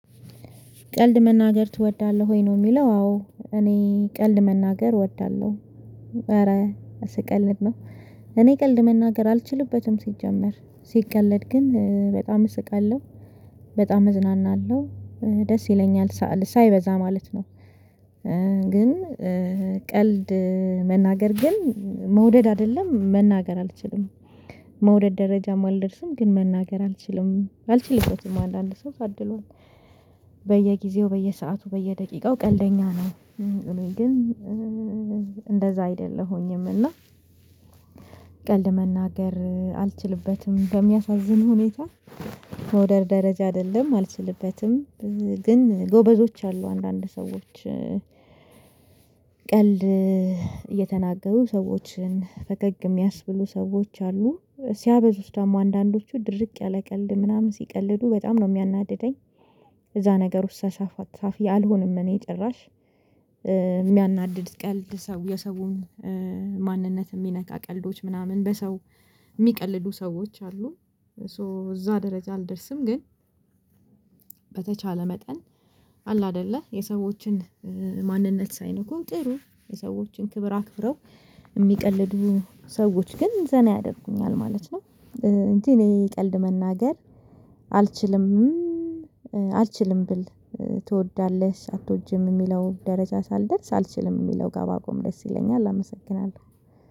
ቀልድ መናገር እወዳለሁ ወይ ነው? የሚለው አዎ እኔ ቀልድ መናገር እወዳለሁ ኧረ ስቀለድነው። እኔ ቀልድ መናገር አልችልበትም ሲጀመር ሲቀለድ ግን በጣም እስቃለሁ በጣም እዝናናለሁ ደስ ይለኛል ሳይበዛ ማለት ነው። ግን ቀልድ መናገር ግን መውደድ አይደለም መናገር አልችልም። መውደድ ደረጃ አልደርስም ግን መናገር አልችልም አልችልበትም አለ አለ ሰው ታድሏል። በየጊዜው በየሰአቱ በየደቂቃው ቀልደኛ ነው። ግን እንደዛ አይደለሁኝም። እና ቀልድ መናገር አልችልበትም በሚያሳዝን ሁኔታ። መውደድ ደረጃ አይደለም አልችልበትም ግን ጎበዞች አሉ አንዳንድ ሰዎች። ቀልድ እየተናገሩ ሰዎችን ፈገግ የሚያስብሉ ሰዎች አሉ። ሲያበዙስ ደግሞ አንዳንዶቹ ድርቅ ያለ ቀልድ ምናምን ሲቀልዱ በጣም ነው የሚያናድደኝ። እዛ ነገር ውስጥ ሳሳፍ ቀፋፊ አልሆንም። እኔ ጭራሽ የሚያናድድ ቀልድ ሰው የሰውን ማንነት የሚነካ ቀልዶች ምናምን በሰው የሚቀልዱ ሰዎች አሉ። ሶ እዛ ደረጃ አልደርስም ግን። በተቻለ መጠን አለ አይደለ የሰዎችን ማንነት ሳይነኩን ጥሩ የሰዎችን ክብር አክብረው የሚቀልዱ ሰዎች ግን ዘና ያደርጉኛል ማለት ነው። እንጂ እኔ ቀልድ መናገር አልችልም። አልችልም ብል ትወዳለሽ አትወጂም የሚለው ደረጃ ሳልደርስ አልችልም የሚለው ጋ ብቆም ደስ ይለኛል። አመሰግናለሁ።